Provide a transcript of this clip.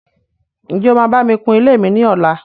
Ǹjẹ́ o máa bá mi kun ilé mi ní ọlá?